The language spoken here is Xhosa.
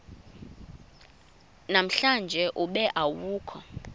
namhlanje ube awukho